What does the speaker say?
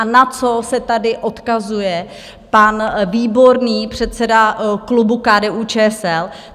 A na co se tady odkazuje pan Výborný, předseda klubu KDU-ČSL?